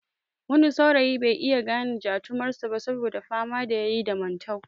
Wani saurayi bai iya gane jatumar sa ba saboda fama da yayi da mantau